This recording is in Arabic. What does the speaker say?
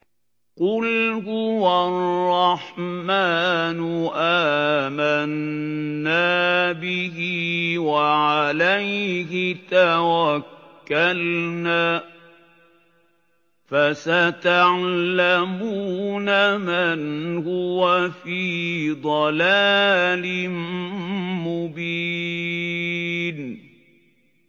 قُلْ هُوَ الرَّحْمَٰنُ آمَنَّا بِهِ وَعَلَيْهِ تَوَكَّلْنَا ۖ فَسَتَعْلَمُونَ مَنْ هُوَ فِي ضَلَالٍ مُّبِينٍ